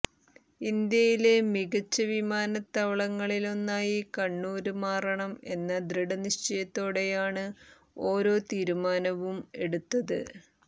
ഇന്ത്യയിലെ മികച്ച വിമാനത്താവളങ്ങളിലൊന്നായി കണ്ണൂര് മാറണം എന്ന ദൃഢനിശ്ചയത്തോടെയാണ് ഓരോ തീരുമാനവും എടുത്തത്